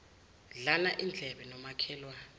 dlana indlebe nomakhelwane